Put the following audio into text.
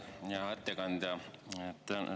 Hea ettekandja!